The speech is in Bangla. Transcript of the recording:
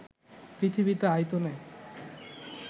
পৃথিবীতে আয়তনে